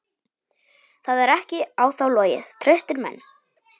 Það er ekki á þá logið: traustir menn.